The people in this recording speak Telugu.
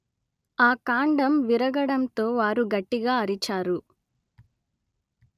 ఆ కాండం విరగడంతో వారు గట్టిగా అరిచారు